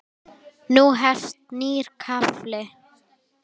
Nú hefst nýr kafli.